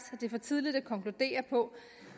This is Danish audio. det er for tidligt at konkludere på